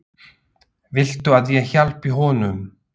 Viltu að ég hjálpi honum?